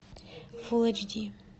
фул эйч ди